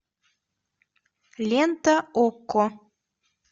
лента окко